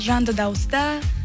жанды дауыста